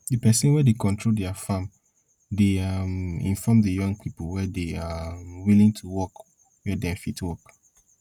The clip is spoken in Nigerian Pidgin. the person wey dey control their farm dey um inform the young people wey dey um willing to work where dem fit work